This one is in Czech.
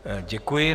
Děkuji.